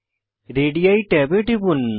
ready ট্যাবে টিপুন